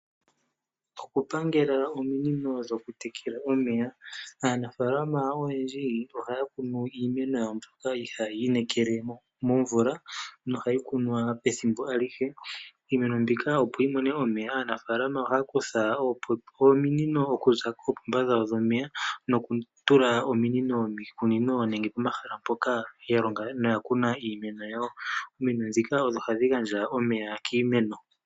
Okupangela ominino dhokutekela omeya. Aanafalama oyendji ohaya kunu iimeno yawo mbyoka hayi inekela momvula nohayi kunwa pethimbo alihe. Iimeno mbika opo yi mone omeya, aanafalama ohaya kutha ominino okuza koopomba dhawo dhomeya, nokutula ominino miikunino nenge pomahala mpoka ya longa no ya kuna iimeno yawo. Ominino dhika odho hadhi gandja omeya kiimeno.